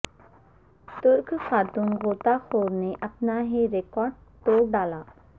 ترک خاتون غوطہ خور نے اپنا ہی ریکارڈ توڑ ڈالا